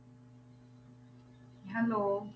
Hello